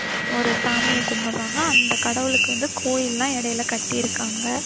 ஒரு சாமிய கும்புடுறாங்க அந்த கடவுளுக்கு வந்து கோவில் எல்லாம் இடையில கட்டிருக்காங்க